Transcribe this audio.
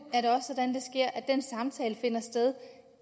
er at den samtale finder sted